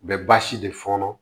U bɛ baasi de fɔɔnɔ